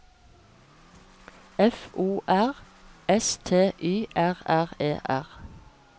F O R S T Y R R E R